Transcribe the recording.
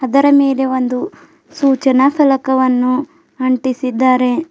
ಅದರ ಮೇಲೆ ಒಂದು ಸೂಚನಾ ಸಲಕವನ್ನು ಅಂಟಿಸಿದ್ದಾರೆ.